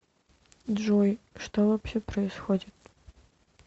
джой что вообще происходит